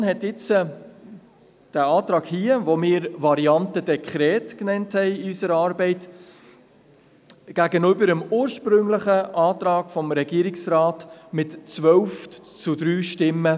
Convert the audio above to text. Die Kommission bevorzugte den Antrag, den wir in unserer Arbeit «Variante Dekret» nannten, gegenüber dem ursprünglichen Antrag des Regierungsrates mit 12 zu 3 Stimmen.